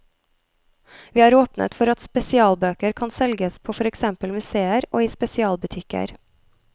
Vi har åpnet for at spesialbøker kan selges på for eksempel museer og i spesialbutikker.